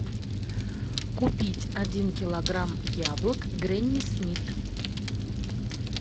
купить один килограмм яблок гренни смит